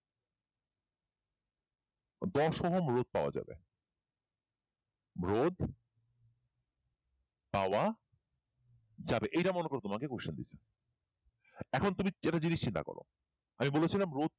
দশ ওহম রোধ পাওয়া যাবে রোধ পাওয়া যাবে রোধ পাওয়া যাবে এইটা মনে করে তোমাকে question দিয়েছে এখন তুমি একটা জিনিস চিন্তা করো আমি বলেছিলাম রোধকে